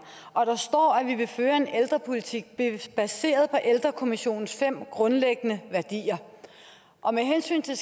og der står at vi vil føre en ældrepolitik baseret på ældrekommissionens fem grundlæggende værdier og med hensyn til